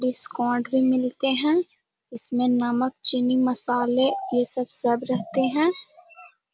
Discount भी मिलते है इसमें नमक चीनी मसाले ये सब सब रहते है।